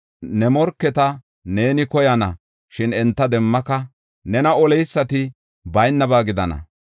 Ne morketa neeni koyana; shin enta demmaka; nena oleysati baynaba gidana.